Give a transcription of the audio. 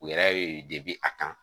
U yɛrɛ ye deb'i a kan